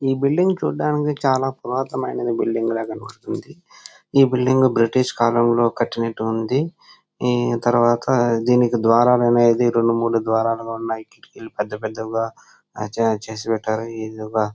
ఈ బిల్డింగ్ చూడటానికి చాలా పురాతనమైన బిల్డింగ్ లాగా కనిపిస్తుంది ఈ బిల్డింగ్ బ్రిటిష్ కాలంలో కట్టినట్టు ఉంది దీని తర్వాత దీనికి ద్వారాలు అనేది రెండు మూడు ద్వారాలు ల ఉన్నాయి పెద్ద పెద్దగా చేసినట్టుగా ఉన్నాయి ఇది ఒక.